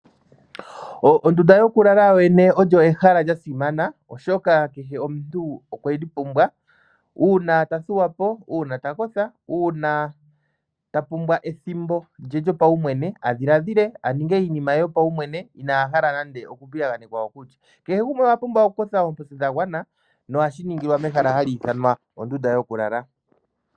Ondunda yokulala yo yene olyo ehala lyasimana oahoka kehe omuntu okweli pumbwa uuna tathuwapo, uuna takotha ,uuna ta pumbwa ethimbo lye lyopawumwene adhilaadhile nenge aninge iinima ye yopawumwene ina hala nande oku piyaganekwa. kehe gumwe owa pumbwa okukotha oomposi dhagwana nohashi ningilwa mehala ha li ithanwa ondunda yokulala.